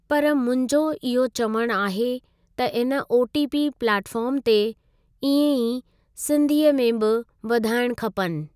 पर मुंहिंजो इहो चवणु आहे त इन ओटीपी प्लेटफॉम ते इएं ई सिंधीअ में ॿि वधाइणु खपनि।